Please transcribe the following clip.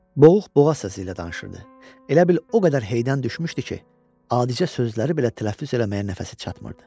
Boğuq boğaz səsi ilə danışırdı, elə bil o qədər heydən düşmüşdü ki, adicə sözləri belə tələffüz eləməyə nəfəsi çatmırdı.